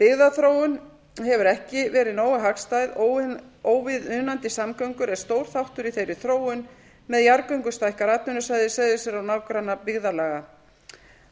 byggðaþróun hefur ekki verið nógu hagstæð óviðunandi samgöngur er stór þáttur í þeirri þróun með jarðgöngum stækkar atvinnusvæði seyðisfjarðar og nágrannabyggðarlaga